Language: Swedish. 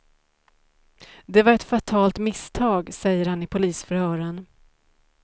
Det var ett fatalt misstag, säger han i polisförhören.